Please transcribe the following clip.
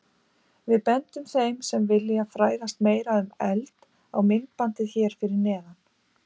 Við bendum þeim sem vilja fræðast meira um eld á myndbandið hér fyrir neðan.